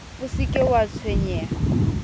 o se ke wa tshwenyeha